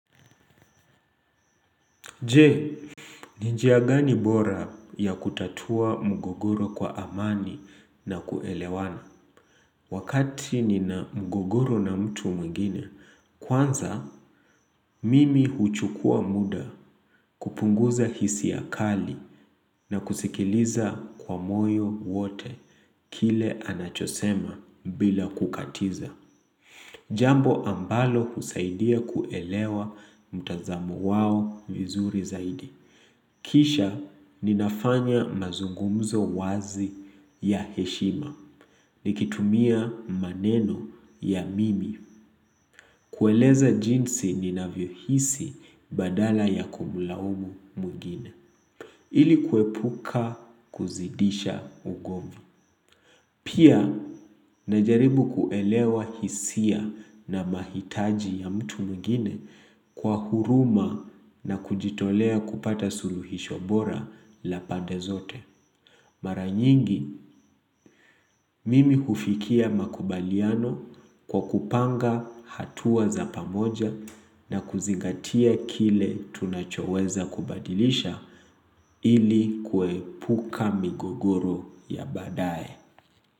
Je, ni njia gani bora ya kutatua mgogoro kwa amani na kuelewana? Wakati nina mgogoro na mtu mwingine, kwanza mimi huchukua muda kupunguza hisia kali na kusikiliza kwa moyo wote kile anachosema bila kukatiza. Jambo ambalo husaidia kuelewa mtazamo wao vizuri zaidi. Kisha ninafanya mazungumzo wazi ya heshima, nikitumia maneno ya mimi, kueleza jinsi ninavyohisi badala ya kumlaumu mwingine, ili kuepuka kuzidisha ugomvi. Pia, najaribu kuelewa hisia na mahitaji ya mtu mwingine kwa huruma na kujitolea kupata suluhisho bora la pande zote. Mara nyingi, mimi hufikia makubaliano kwa kupanga hatua za pamoja na kuzingatia kile tunachoweza kubadilisha ili kuepuka migogoro ya badaye.